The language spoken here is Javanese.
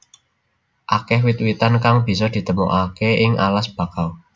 Akeh wit witan kang bisa ditemokaké ing alas bakau